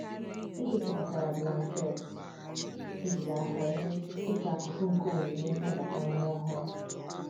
E gosipụtara blanketị ejiri aka mee dịka akụkụ nke onyinye nnabata nwa ọhụrụ.